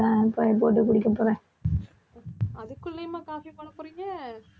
அதுக்குள்ளேயுமா coffee போடப்போறீங்க